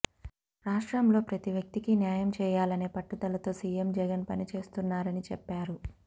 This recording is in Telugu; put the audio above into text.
రాష్ట్రంలో ప్రతి వ్యక్తికి న్యాయం చేయాలనే పట్టుదలతో సిఎం జగన్ పనిచేస్తున్నారని చెప్పారు